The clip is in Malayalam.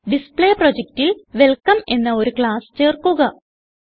ഡിസ്പ്ലേ പ്രൊജക്റ്റിൽ വെൽക്കം എന്ന ഒരു ക്ലാസ് ചേർക്കുക